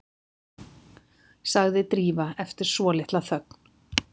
sagði Drífa eftir svolitla þögn.